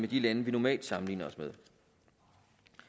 de lande vi normalt sammenligner os med